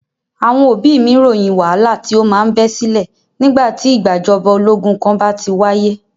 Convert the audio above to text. Àwọn òbí mí ròyìn wàhálà tí o má ń bẹ sílẹ̀ nígbà tí ìgbàjọba ológun kan bá ti wáyé.